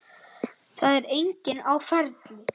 Það var enginn á ferli.